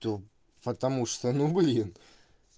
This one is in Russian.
то потому что ну были